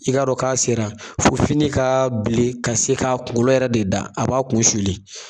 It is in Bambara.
I k'a dɔn k'a sera fo fini ka bilen ka se ka kunkolo yɛrɛ de da a b'a kun suli